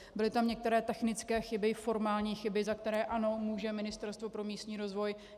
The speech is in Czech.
Byly tam některé technické chyby, formální chyby, za které ano, může Ministerstvo pro místní rozvoj.